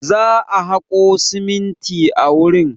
Za a haƙo siminti a wurin.